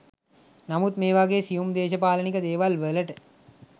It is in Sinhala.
නමුත් මේ වගේ සියුම් දේශපාලනික දේවල් වලට